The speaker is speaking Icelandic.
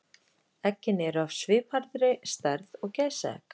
Eggin eru af svipaðri stærð og gæsaegg.